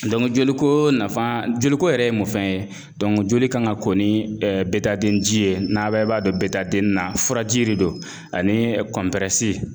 joli ko nafa, joli ko yɛrɛ ye mun fɛn ye joli kan ka ko ni bɛɛ ji ye n'a bɛɛ b'a dɔn na , furaji de don ani